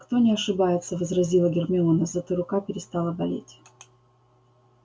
кто не ошибается возразила гермиона зато рука перестала болеть